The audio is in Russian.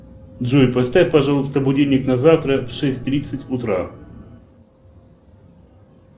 джой поставь пожалуйста будильник на завтра в шесть тридцать утра